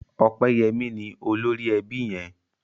Opeyemi ní olórí ẹbí yén